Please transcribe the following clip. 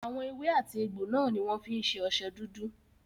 Àwọn èwe àti egbò náà ní wọ́n fí ń ṣe ọṣẹ dúdú.